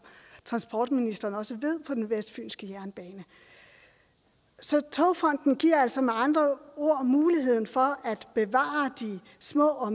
transportministeren også ved på den vestfynske jernbane så togfonden dk giver altså med andre ord mulighed for at bevare de små og